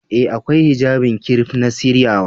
Ee, akwai Hijjabin kiref na siryawa.